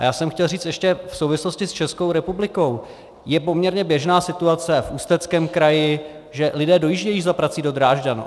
A já jsem chtěl říct ještě v souvislosti s Českou republikou, je poměrně běžná situace v Ústeckém kraji, že lidé dojíždějí za prací do Drážďan.